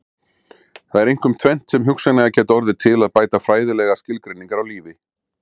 Það er einkum tvennt sem hugsanlega gæti orðið til að bæta fræðilegar skilgreiningar á lífi.